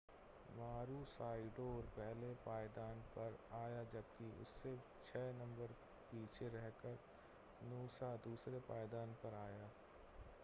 मारूसाइडोर पहले पायदान पर आया जबकि उससे छह नंबर पीछे रहकर नूसा दूसरे पायदान पर आया